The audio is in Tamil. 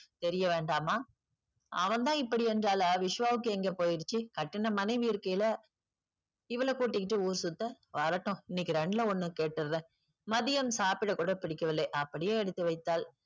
தெரிய வேண்டாமா. அவள் தான் இப்படி என்றால் விஸ்வாவுக்கு எங்கே போயிடுச்சு கட்டின மனைவி இருக்கையில இவளை கூட்டிட்டு ஊர் சுத்த. வரட்டும் இன்னக்கி ரெண்டுல ஒண்ணு கேட்டுடறேன். மதியம் சாப்பிட கூட பிடிக்கவில்லை அப்படியே எடுத்து வைத்தாள்.